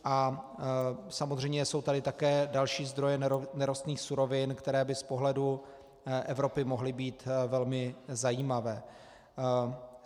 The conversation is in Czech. A samozřejmě jsou tady také další zdroje nerostných surovin, které by z pohledu Evropy mohly být velmi zajímavé.